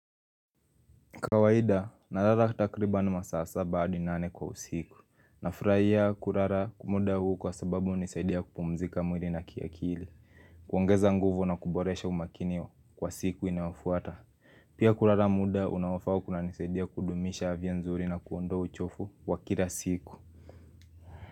Kawaida, nalala takriban masasa saba hadi nane kwa usiku. Nafurahia kulala muda huu kwa sababu hunisaidia kupumzika mwili na kiakili. Kuongeza nguvu na kuboresha umakini kwa siku inayofuata. Pia kulala muda unaofaa kunanisaidia kudumisha afya nzuri na kuondoa uchofu wa kila siku.